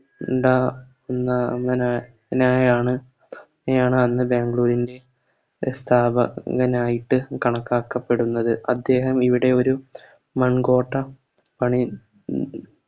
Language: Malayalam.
ഉണ്ടാ അങ്ങ അങ്ങനെ നായയാണ് അങ്ങനെയാണ് അന്ന് ബാംഗ്ലൂരിൻറെ എ സ്ഥാപകനായിട്ട് കണക്കാക്കപ്പെടുന്നത് അദ്ദേഹം ഇവിടെയൊരു മങ്കോട്ട പണി